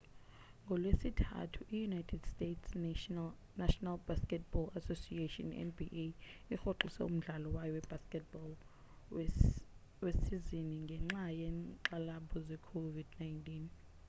ngolwesithathu i-united states' national basketball association nba irhoxise umdlalo wayo webasket ball wesizini ngenxa yenkxalabo ze covid-19